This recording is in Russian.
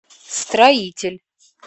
строитель